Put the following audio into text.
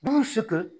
Minnu si tɛ